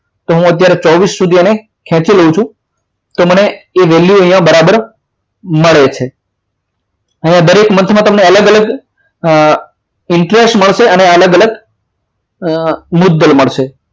તો અત્યારે હું ચોવીસ સુધી એને ખેંચી લઉં છું તો મને એ value અહીંયા બરાબર મળે છે અહીંયા દરેક month માં અલગ અલગ interest મળશે અને અલગ અલગ મુદ્દલ મળશે